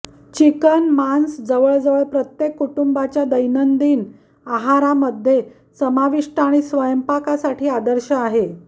chicken मांस जवळजवळ प्रत्येक कुटुंबाच्या दैनिक आहार मध्ये समाविष्ट आणि स्वयंपाक साठी आदर्श आहे